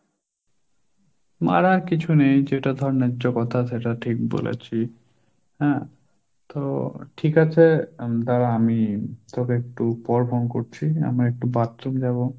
মারার কিছু নেই যেটা ধর ন্যায্য কথা সেটা ঠিক বলেছি, হ্যাঁ তো ঠিক আছে দাঁড়া আমি তোকে একটু পর phone করছি, আমি একটু bathroom যাবো।